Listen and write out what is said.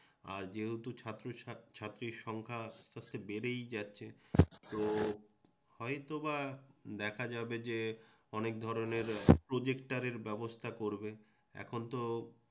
আর যেহেতু ছাত্র ছাত্রীর সংখ্যা বেড়েই যাচ্ছে তো হয়তোবা দেখা যাবে যে অনেক ধরণের প্রোজেক্টরের ব্যবস্থা করবে